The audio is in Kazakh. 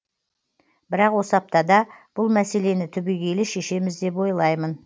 бірақ осы аптада бұл мәселені түбегейлі шешеміз деп ойлаймын